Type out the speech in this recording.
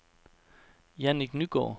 Jannik Nygaard